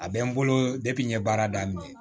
A bɛ n bolo n ye baara daminɛ